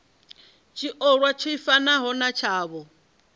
tshiolwa tshi fanaho na tshavho